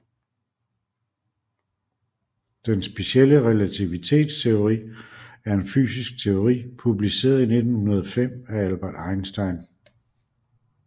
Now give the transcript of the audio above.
Den specielle relativitetsteori er en fysisk teori publiceret i 1905 af Albert Einstein